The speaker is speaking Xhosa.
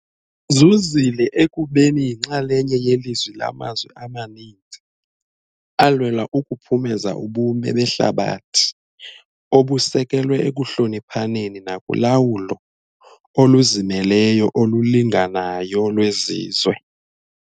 zuzile ekubeni yinxalenye yelizwi lamazwi amaninzi alwela ukuphumeza ubume behlabathi obusekelwe ekuhloniphaneni nakulawulo oluzimeleyo olulinganayo lwezizwe.